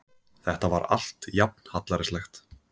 Þetta var allt jafn hallærislegt.